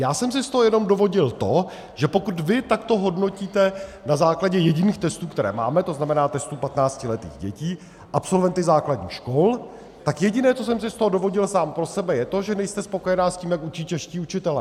Já jsem si z toho jenom dovodil to, že pokud vy takto hodnotíte na základě jediných testů, které máme, to znamená testů 15letých dětí, absolventy základních škol, tak jediné, co jsem si z toho dovodil sám pro sebe, je to, že nejste spokojena s tím, jak učí čeští učitelé.